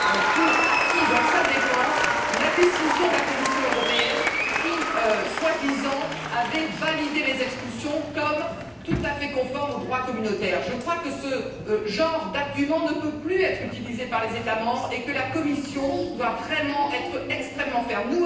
pour acquis dans sa défense la décision de la Commission européenne qui, soi disant, avait validé les expulsions comme tout à fait conformes au droit communautaire. Je crois que ce genre d'argument ne peut plus être utilisé par les États membres et que la Commission doit vraiment être extrêmement ferme.